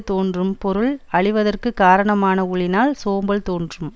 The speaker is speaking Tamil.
தோன்றும் பொருள் அழிவதற்குக் காரணமான ஊழினால் சோம்பல் தோன்றும்